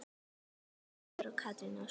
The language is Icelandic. Íris Auður og Katrín Ósk.